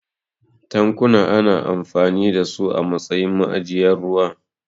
Tankuna ana amfani da su a matsayin ma'ajiyar ruwa.